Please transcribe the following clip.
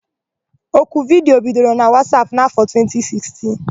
Oku vidiyo bidoro na Wasap n'afọ 2016.